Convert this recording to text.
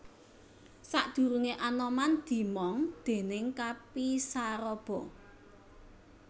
Sadurunge Anoman dimong déning Kapi Saraba